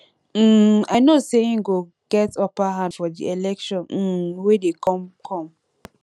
um i know say he go get upper hand for the election um wey dey come come